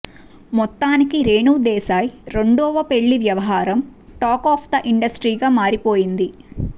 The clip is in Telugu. మొత్తానికి రేణుదేశాయ్ రెండవ పెళ్లి వ్యవహారం టాక్ ఆఫ్ ది ఇండస్ట్రీగా మారిపోయింది